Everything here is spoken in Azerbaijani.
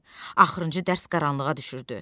Axırıncı dərs qaranlığa düşürdü.